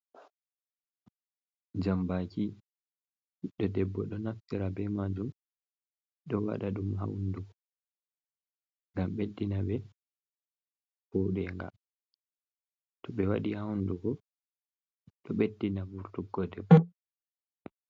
Jambaki ɓiɗɗo debbo ɗo naftira be majun do waɗa ɗum ha hundugo ngam ɓeddina ɓe voɗenga to ɓe waɗi ha hundugo ɗo ɓeddina vurtuggo debbo.